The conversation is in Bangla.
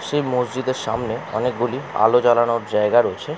সেই মসজিদের সামনে অনেকগুলো আলো জ্বালানোর জায়গা রয়েছে।